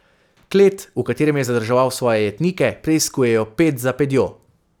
Klet, v katerem je zadrževal svoje jetnike, preiskujejo ped za pedjo.